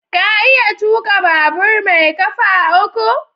Ka iya tuka babur mai kafa uku?